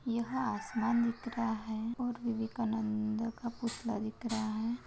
यह आसमान दिख रहा है और विवेकानंद का पुतला दिख रहा है।